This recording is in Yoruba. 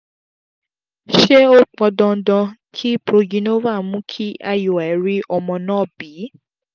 ṣé ó pọn dandan kí progynova mú kí iui rí ọmọ náà bí?